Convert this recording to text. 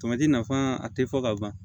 nafa a tɛ fɔ ka ban